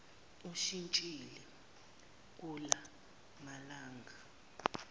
ushintshile kula malanga